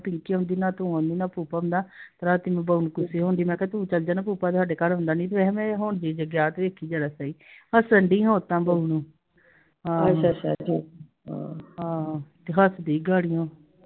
ਤੇ ਹੱਸਦੀ l